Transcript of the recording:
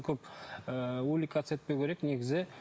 көп ыыы увлекаться етпеу керек негізі